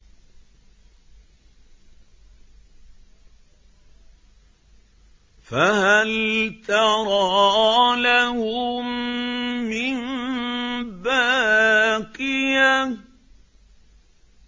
فَهَلْ تَرَىٰ لَهُم مِّن بَاقِيَةٍ